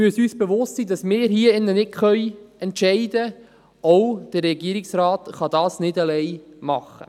Wir müssen uns bewusst sein, dass wir hier drin nicht entscheiden können, auch der Regierungsrat kann das nicht alleine tun.